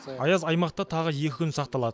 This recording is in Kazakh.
аяз аймақта тағы екі күн сақталады